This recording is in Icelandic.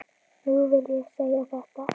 Nú vil ég segja þetta.